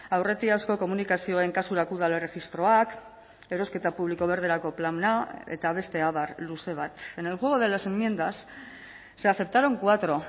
aurretiazko komunikazioen kasurako udal erregistroak erosketa publiko berderako plana eta beste abar luze bat en el juego de las enmiendas se aceptaron cuatro